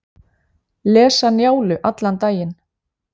Lesa Njálu allan daginn